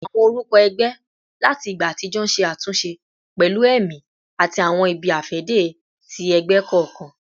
Awọn orukọ ẹgbẹ lati igba atijọ ṣe atunṣe pẹlu ẹmi ati awọn ibi-afẹde ti ẹgbẹ kọọkan